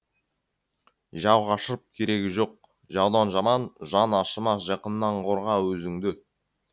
жау қашырып керегі жоқ жаудан жаман жаны ашымас жақыннан қорға өзіңді